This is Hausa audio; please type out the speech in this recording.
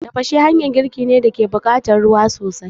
Tafashe hanyan girki ne da take buƙatan ruwa sosai